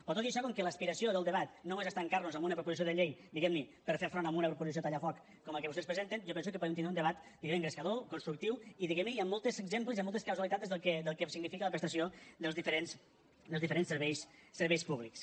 però tot i això com que l’aspiració del debat no és estancar nos en una proposició de llei diguem ne per fer front a una proposició tallafoc com la que vostès presenten jo penso que podem tindre un debat engrescador constructiu i amb molts exemples i amb moltes causalitats del que significa la prestació dels diferents serveis públics